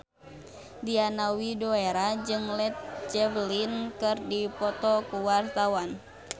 Diana Widoera jeung Led Zeppelin keur dipoto ku wartawan